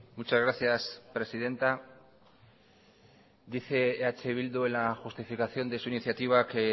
muchas gracias presidenta dice eh bildu en la justificación de su iniciativa que